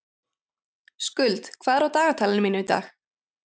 Skuld, hvað er á dagatalinu mínu í dag?